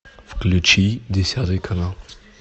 включи десятый канал